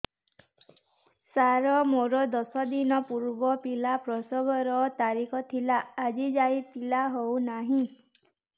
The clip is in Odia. ସାର ମୋର ଦଶ ଦିନ ପୂର୍ବ ପିଲା ପ୍ରସଵ ର ତାରିଖ ଥିଲା ଆଜି ଯାଇଁ ପିଲା ହଉ ନାହିଁ